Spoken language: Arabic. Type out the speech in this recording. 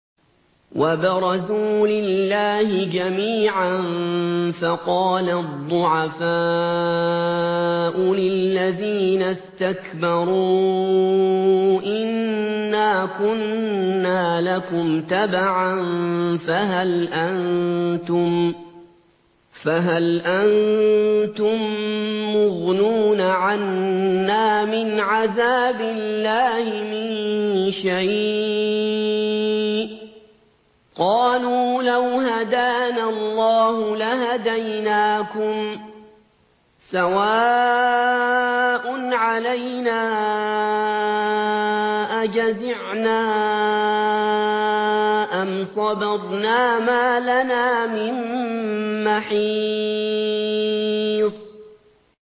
وَبَرَزُوا لِلَّهِ جَمِيعًا فَقَالَ الضُّعَفَاءُ لِلَّذِينَ اسْتَكْبَرُوا إِنَّا كُنَّا لَكُمْ تَبَعًا فَهَلْ أَنتُم مُّغْنُونَ عَنَّا مِنْ عَذَابِ اللَّهِ مِن شَيْءٍ ۚ قَالُوا لَوْ هَدَانَا اللَّهُ لَهَدَيْنَاكُمْ ۖ سَوَاءٌ عَلَيْنَا أَجَزِعْنَا أَمْ صَبَرْنَا مَا لَنَا مِن مَّحِيصٍ